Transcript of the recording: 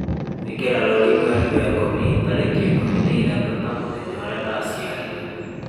ĩkĩra rũũri mweri wa ikũmi tarĩki ikũmi na ithatu ta mũthenya ũrĩa ndacĩarirwo